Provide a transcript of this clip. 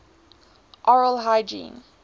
oral hygiene